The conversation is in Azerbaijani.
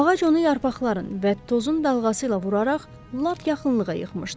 Ağac onu yarpaqların və tozun dalğası ilə vuraraq lap yaxınlığa yıxmışdı.